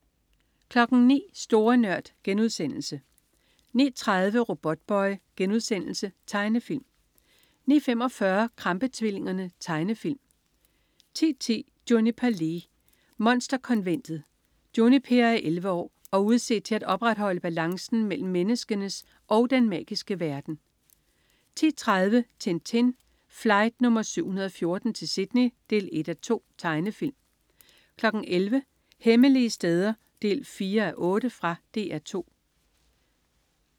09.00 Store Nørd* 09.30 Robotboy.* Tegnefilm 09.45 Krampe-tvillingerne. Tegnefilm 10.10 Juniper Lee. Monsterkonventet. Juniper er 11 år og udset til at opretholde balancen mellem menneskenes og den magiske verden 10.30 Tintin. Flight nr. 714 til Sydney 1:2. Tegnefilm 11.00 Hemmelige steder 4:8. Fra DR 2